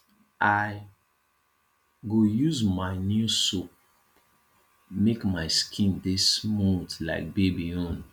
i go use my new soap make my skin dey smooth like baby own